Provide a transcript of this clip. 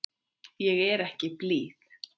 Ég er ekki blíð.